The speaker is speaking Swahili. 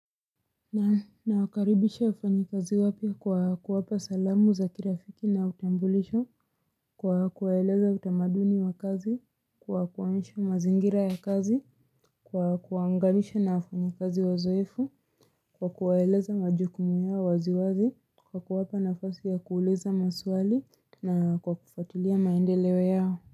Na nawakaribisha wafanyakazi wapya kwa kuwapa salamu za kirafiki na utambulisho kwa kuwaeleza utamaduni wa kazi kwa kuwaonesha mazingira ya kazi kwa kuwaunganisha na wafanyikazi wazoefu kwa kuwaeleza majukumu yao wazi wazi kwa kuwapa nafasi ya kuuliza maswali na kwa kufatulia maendeleo yao.